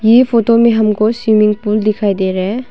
ये फोटो में हमको स्विमिंग पूल दिखाई दे रहे हैं।